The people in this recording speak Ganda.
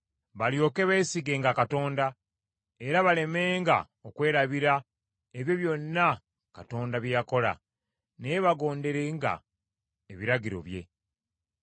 balyoke beesigenga Katonda, era balemenga okwerabira ebyo byonna Katonda bye yakola; naye bagonderenga ebiragiro bye.